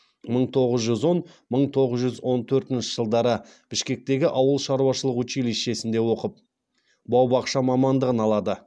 мың тоғыз жүз он мың тоғыз жүз он төртінші жылдары бішкектегі ауыл шаруашылық училищесінде оқып бау бақша мамандығын алады